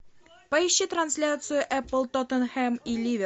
поищи трансляцию эпл тоттенхэм и ливер